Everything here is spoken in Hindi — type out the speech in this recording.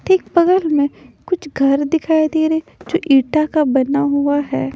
ठीक बगल में कुछ घर दिखाई दे रहे जो ईटा का बना हुआ है।